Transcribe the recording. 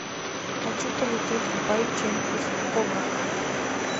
хочу полететь в байчэн из ховраха